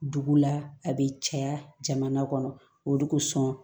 Dugu la a bɛ caya jamana kɔnɔ ko sɔn